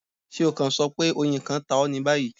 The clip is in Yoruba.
ṣe o kan sọ pe oyin kan ta ọ ni bayi